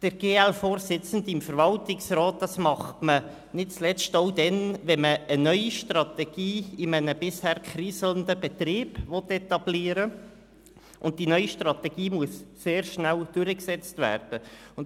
Ein GL-Vorsitzender im Verwaltungsrat ist nicht zuletzt auch dann sinnvoll, wenn man eine neue Strategie in einem bisher kriselnden Betrieb etablieren will und die neue Strategie sehr rasch umgesetzt werden muss.